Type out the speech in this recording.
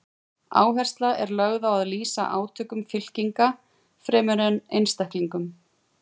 Áhersla er lögð á að lýsa átökum fylkinga fremur en einstaklingum.